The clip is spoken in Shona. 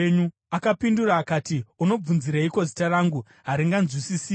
Akapindura akati, “Unobvunzireiko zita rangu? Haringanzwisisiki.”